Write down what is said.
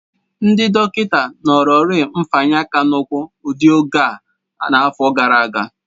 Ndị dọkịna nọrọrị mfanye aka n'ukwu udị oge a n'afọ gara aga.